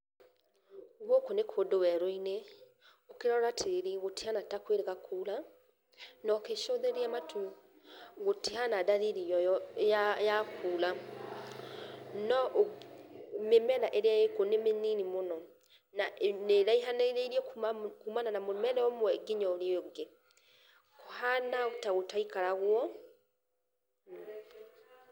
Gũkũ nĩ kũndũ werũ-inĩ, ũkĩrora tĩri gũtihana ta kwĩrĩga kura, nogĩcũthĩrĩria matu gũtihana dalili ya kũra , no mĩmera ĩrĩa ĩkuo nĩ mĩnini mũno na nĩĩrahanĩrĩrie kumana na mũmera ũmwe nginya ũrĩa ũngĩ. Kũhana ta gũtaikaragwo .